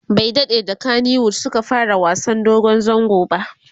bai daɗe da kanywood Suka fara wasan dogon zango ba